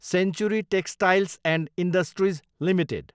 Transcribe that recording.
century textiles and industries limited